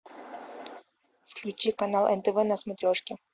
включи канал нтв на смотрешке